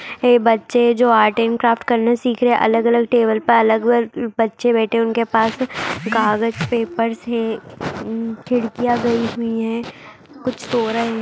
यह बचे जो आर्ट एण्ड क्राफ्ट करना सीख रहे हैं अलग-अलग टेबल पर अलग-अलग बचे बैठे हैं। उनके पास कागज पेपर खिड़किया गई हुई है कुछ सो रहे हैं।